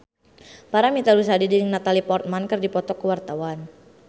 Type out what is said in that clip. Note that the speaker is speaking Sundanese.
Paramitha Rusady jeung Natalie Portman keur dipoto ku wartawan